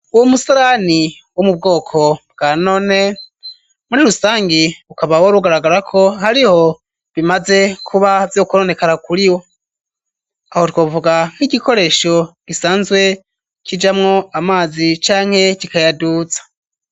Uwo musarani wo mu bwoko bwa none muri rusangi ukaba wari ugaragara ko hariho bimaze kuba vyo kononekara kuri wo ,aho twovuga nk'igikoresho gisanzwe kijamwo amazi canke kikayaduza.